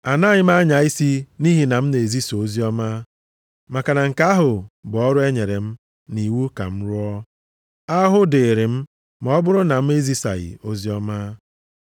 Anaghị anya isi nʼihi na ana m ezisa oziọma, maka na nke ahụ bụ ọrụ e nyere m nʼiwu ka m rụọ. Ahụhụ dịịrị m ma ọ bụrụ na m ezisaghị oziọma.